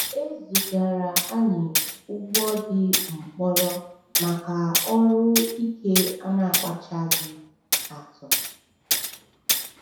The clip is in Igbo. E zigara anyị ugbo ndi mkpọrọ maka ọrụ ike a na-akpachaghị atụ.